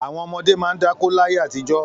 Àwọn ọmọdé máa ń dáko láyé àtijọ́.